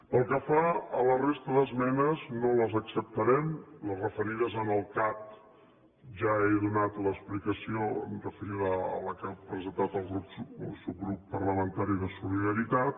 pel que fa a la resta d’esmenes no les acceptarem les referides al cat ja he donat l’explicació referida a la que ha presentat el subgrup parlamentari de solidaritat